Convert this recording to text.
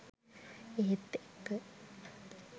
ඒත් එක්ක